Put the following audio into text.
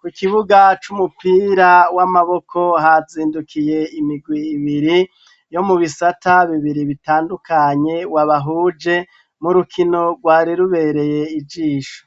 ,ku kibuga c'umupira w'amaboko hazindukiye imigwi ibiri, yo mu bisata bibiri bitandukanye wabahuje ,murukino rwari rubereye ijisho.